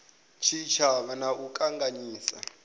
tshitshavha na u a ṱanganyisa